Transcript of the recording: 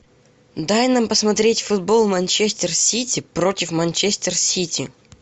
дай нам посмотреть футбол манчестер сити против манчестер сити